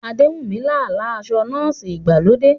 Adewunmi lá àlá aṣọ nọ́ọ̀sì ìgbàlódé.